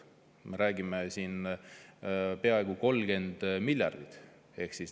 Me räägime siin peaaegu 30 miljardist.